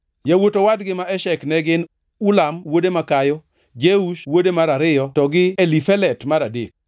Yawuot owadgi ma Eshek ne gin: Ulam wuode makayo, Jeush wuode mar ariyo to gi Elifelet mar adek.